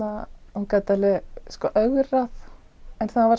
og gat alveg ögrað en það var